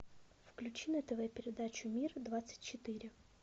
включи на тв передачу мир двадцать четыре